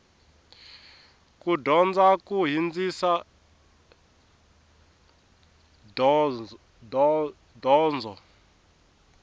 ku dyondza ku hindzisa donzo